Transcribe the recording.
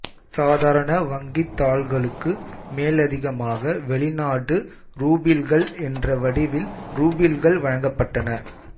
சாதாரண வங்கித் தாள்களுக்கு மேலதிகமாக வெளிநாட்டு ரூபிள்கள் என்ற வடிவிலும் ரூபிள்கள் வழங்கப்பட்டன